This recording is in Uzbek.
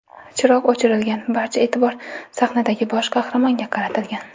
Chiroq o‘chirilgan, barcha e’tibor sahnadagi bosh qahramonga qaratilgan.